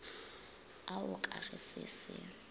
ao ka ge se se